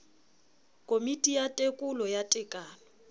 komiti ya tekolo ya tekano